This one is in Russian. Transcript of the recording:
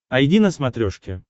айди на смотрешке